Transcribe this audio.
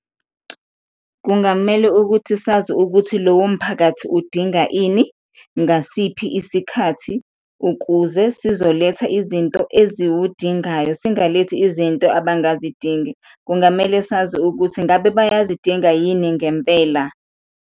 Kungamele ukuthi sazi ukuthi lowo mphakathi udinga ini ngasiphi isikhathi ukuze sizoletha izinto eziwudingayo, singayilethi izinto abangazidingi, kungamele sazi ukuthi ngabe bayazidinga yini ngempela.